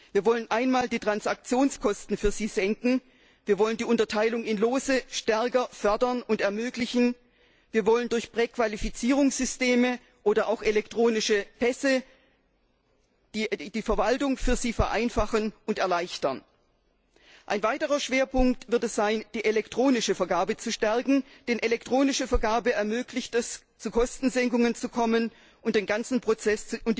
Wir wollen die Transaktionskosten für sie senken, wir wollen die Unterteilung in Lose ermöglichen und stärker fördern, wir wollen durch Präqualifizierungssysteme oder auch elektronische Pässe die Verwaltung für sie vereinfachen und erleichtern. Ein weiterer Schwerpunkt wird sein, die elektronische Auftragsvergabe zu stärken, denn die elektronische Vergabe ermöglicht es, Kostensenkungen zu erreichen, und den ganzen Prozess